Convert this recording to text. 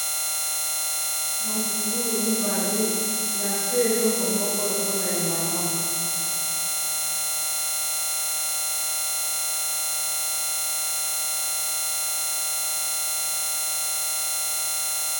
Matungulu mibale na se eloko moko lokola elamba.